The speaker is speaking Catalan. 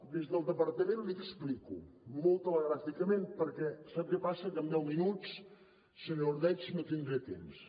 des del departament l’hi explico molt telegràficament perquè sap què passa que amb deu minuts senyor ordeig no tindré temps